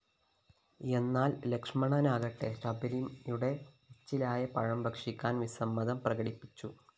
എന്നാല്‍ ലക്ഷ്മണനാകട്ടെ ശബരിയുടെ എച്ചിലായ പഴം ഭക്ഷിക്കാന്‍ വിസമ്മതം പ്രകടിപ്പിച്ചു